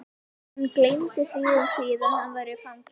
Hann gleymdi því um hríð að hann var fangi.